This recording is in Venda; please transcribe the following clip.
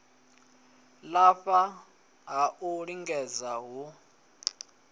lafha ha u lingedza hu